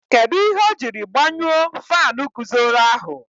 Kedụ ihe o jiri gbanyuo faanu guzoro ahụ?